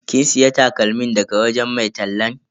Kin siya takalmin daga wajen mai tallan?